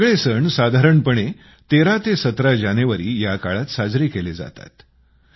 हे सगळे सण साधारणपणे 13ते 17 जानेवारी या काळात साजरे केले जातात